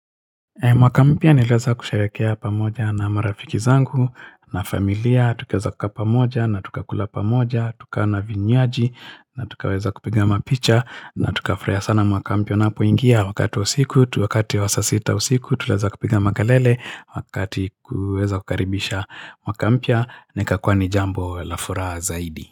Mwaka mpya niliweza kusharehekea pamoja na marafiki zangu na familia Tukaeza kukaa pamoja na tukakula pamoja Tuka na vinywaji na tukaweza kupiga mapicha na tukafurahia sana mwaka mpya napoingia Wakati wa usiku, wakati wa saa sita ya usiku Tukaeza kupiga makelele Wakati kuweza kukaribisha mwaka mpya na ikakuwa ni jambo la furaha zaidi.